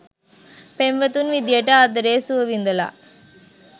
පෙම්වතුන් විදියට ආදරයේ සුව විඳලා